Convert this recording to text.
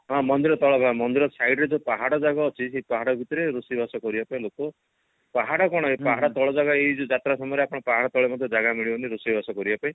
ହଁ ମନ୍ଦିର ତଳ ଭାଗରେ ମନ୍ଦିର site ରେ ଯୋଉ ପାହାଡ ଯାକ ଅଛି ପାହାଡ ଭିତରେ ରୋଷେଇ ବାସ କରିବା ପାଇଁ ଲୋକ ପାହାଡ କଣ ଏ ପାହାଡ ତଳ ଭାଗ ଏ ଯୋଉ ଯାତ୍ରା ସମୟରେ ଆପଣ ପାହାଡ ତଳେ ମଧ୍ୟ ଜାଗା ମିଳିବନି ରୋଷେଇବାସ କରିବାକୁ